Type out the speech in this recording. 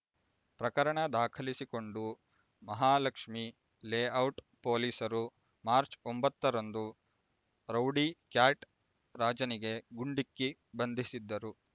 ಪ್ರಕರಣ ದಾಖಲಿಸಿಕೊಂಡು ಮಹಾಲಕ್ಷ್ಮಿ ಲೇಔಟ್ ಪೊಲೀಸರು ಮಾರ್ಚ್ ಒಂಬತ್ತರಂದು ರೌಡಿ ಕ್ಯಾಟ್ ರಾಜನಿಗೆ ಗುಂಡಿಕ್ಕಿ ಬಂಧಿಸಿದ್ದರು